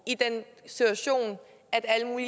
i den situation for